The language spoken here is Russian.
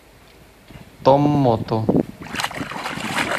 томмоту